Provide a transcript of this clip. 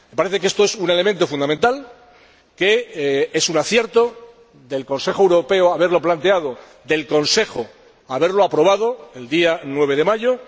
Me parece que esto es un elemento fundamental, que es un acierto del Consejo Europeo haberlo planteado y del Consejo haberlo aprobado el día 9 de mayo